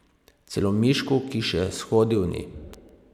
Celo Mišku, ki še shodil ni.